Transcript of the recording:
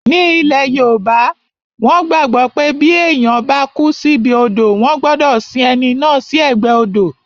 Ní ilẹ̀ yoòbá, wọ́n gbàgbọ́ pé bí èèyàn bá kú síbi odò wọ́n gbọdọ̀ sin ẹni náà sí ẹ̀gbẹ́ odò